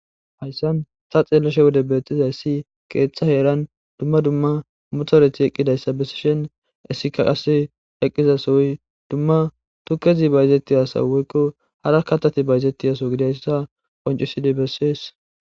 hayssan sa xeelloshe wode beettizayssi qeeththa heeran dumma dumma mutoreti eqqidayssa besishen issika qase eqqizasoy dumma tukkezi bayizetti asaweykko hara katati bayzetti yaso gidiayssa qoncusidi bessees